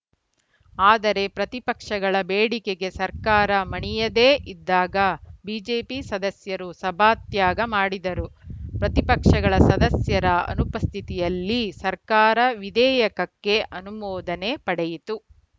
ಆದರೆ ಪ್ರತಿಪಕ್ಷಗಳ ಬೇಡಿಕೆಗೆ ಸರ್ಕಾರ ಮಣಿಯದೇ ಇದ್ದಾಗ ಬಿಜೆಪಿ ಸದಸ್ಯರು ಸಭಾತ್ಯಾಗ ಮಾಡಿದರು ಪ್ರತಿಪಕ್ಷಗಳ ಸದಸ್ಯರ ಅನುಪಸ್ಥಿತಿಯಲ್ಲಿ ಸರ್ಕಾರ ವಿಧೇಯಕಕ್ಕೆ ಅನುಮೋದನೆ ಪಡೆಯಿತು